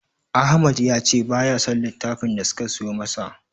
Ahmad ya ce baya son littafin da suka siyo masa.